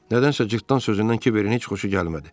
Nədənsə cırtdan sözündən Kiberin heç xoşu gəlmədi.